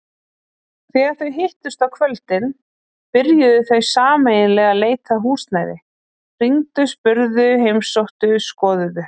Þegar þau hittust á kvöldin byrjuðu þau sameiginlega leit að húsnæði, hringdu spurðu heimsóttu skoðuðu.